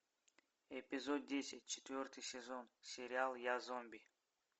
эпизод десять четвертый сезон сериал я зомби